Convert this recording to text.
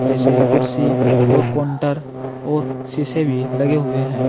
जैसे कुर्सी और काउंटर और शीशे भी लगे हुए हैं।